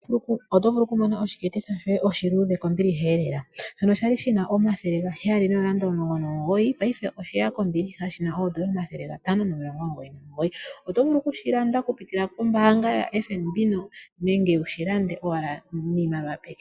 Oto vulu okumona ekopi lyoye lyokolusheno kombiliha lela. Okwali lina oondola N$ 719 paife osheya kombiliha shina oondola N$ 599. Oto vulu okushilanda okupitila kombaanga yaFNB nenge wushilande owala niimaliwa peke.